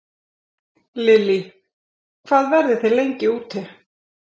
Lillý: Hvað verðið þið lengi úti?